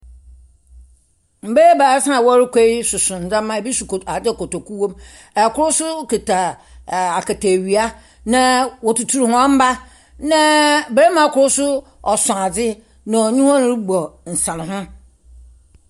Mmaa ebiasa a wɔrekɔ so ndzɛmba, bi so kot adze kotoku wɔ mu, kor so kitsa ɛɛɛ akataewia na wotutur hɔn mba na barimba kor so so adze na ɔnye hɔn robɔ nsanho.